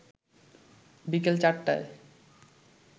বিকেল চারটায়